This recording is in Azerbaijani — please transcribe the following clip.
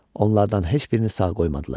Onlardan heç birini sağ qoymadılar.